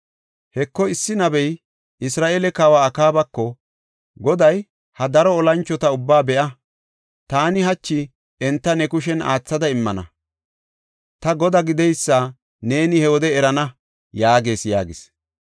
Heko, issi nabey Isra7eele kawa Akaabako, “Goday ‘Ha daro olanchota ubbaa be7a? Taani hachi enta ne kushen aathada immana; ta Godaa gideysa neeni he wode erana’ yaagees” yaagis.